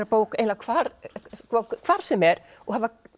bók eiginlega hvar hvar sem er og